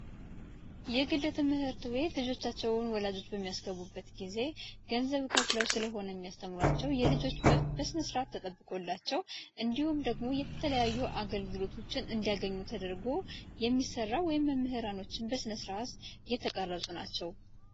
የግል ትምህርት ቤት ልጆቻቸውን ወላጆች የሚያስገቡበት ጊዜ ገንዘብ ከፍለው ስለሆነ ያስተምራቸው የልጆች ተጠብቆላቸው እንዲሁም ደግሞ የተለያዩ አገልግሎቶችን እንደገኙ ተደርጎ የሚሰራ ወይም መምህራኖችበስነ ስርአት የተቀረጹ ናቸው